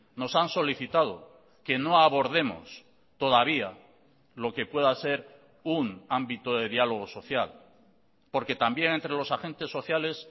nos han solicitado que no abordemos todavía lo que pueda ser un ámbito de diálogo social porque también entre los agentes sociales